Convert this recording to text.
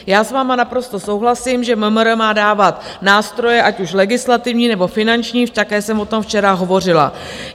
Já s vámi naprosto souhlasím, že MMR má dávat nástroje, ať už legislativní, nebo finanční, také jsem o tom včera hovořila.